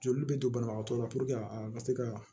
Joli bɛ to banabagatɔ la a ka se ka